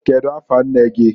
Kedu afa nne gi?